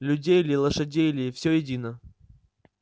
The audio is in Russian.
людей или лошадей или всё едино